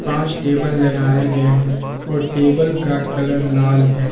पांच टेबल लगाए गए हैं और टेबल का कलर लाल है।